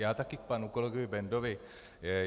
Já také k panu kolegovi Bendovi.